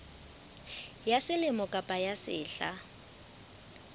ya selemo kapa ya sehla